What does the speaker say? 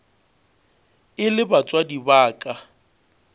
e le batswadi ba ka